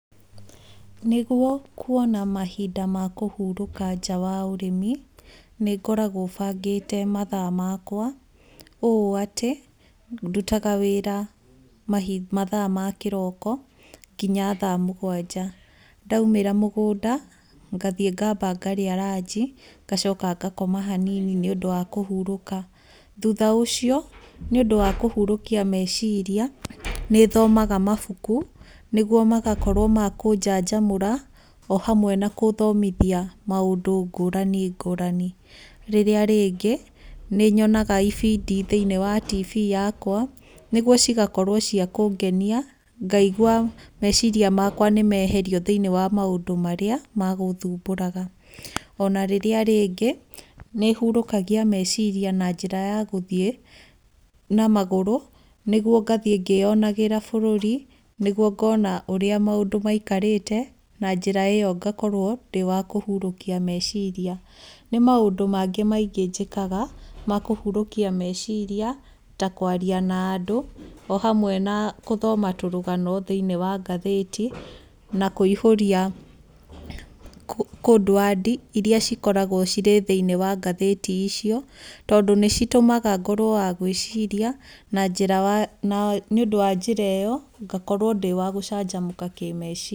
Nĩguo kuona mahinda ma kũhurũka nja wa ũrĩmi, nĩ ngoragwo bangĩte mathaa makwa ũũ atĩ ndutaga wĩra mathaa ma kĩroko kinya thaa mũgwanja. Ndaumĩra mũgũnda, ngathiĩ ngamba ngarĩa ranji, ngacoka ngakoma hanini nĩũndũ wa kũhurũka. Thutha ũcio nĩũndũ wa kũhurũkia meciria, nĩthomaga mabuku nĩguo magakorwo ma kũnjanjamũra o hamwe na gũthomithia maũndũ ngũrani ngũrani. Rĩrĩa rĩngĩ nĩ nyonaga ibindi thĩiniĩ wa tibi yakwa, nĩguo cigakorwo cia kũngenia, ngaigua meciria makwa nĩ meherio thĩinĩ wa maũndũ marĩa magũthumbũraga. Ona rĩrĩa rĩngĩ, nĩ hurũkagia meciria na njĩra ya gũthiĩ na magũrũ, nĩguo ngathiĩ ngĩonagĩra bũrũri, nĩguo ngona ũrĩa maũndũ maikarĩte, na njĩra ĩyo ngakorwo ndĩ wa kũhurũkia meciria. Nĩ maũndũ mangĩ maingĩ njĩkaga ma kũhurũkia meciria ta kwaria na andũ o hamwe na gũthoma tũrũgano thĩiniĩ wa ngathĩti na kũihũria codeword iria cikoragwo cirĩ thĩiniĩ wa ngathĩti icio, tondũ nĩ citũmaga ngorwo wa gwĩciria na njĩra ya, nĩũndũ wa njĩra ĩyo ngakorwo ndĩ wa gũcanjamũka kĩmeciria.